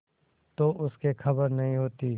तो उसे खबर नहीं होती